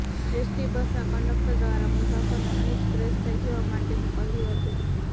એસટીબસના conductor દ્વારા મુસાફરોને અહીંજ ફ્રેશ થઇ જવા માટેનું કહ્યુ હતુ